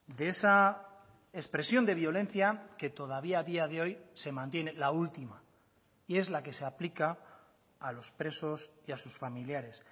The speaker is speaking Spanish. de esa expresión de violencia que todavía a día de hoy se mantiene la última y es la que se aplica a los presos y a sus familiares